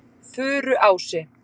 Furuási